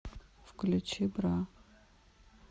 включи бра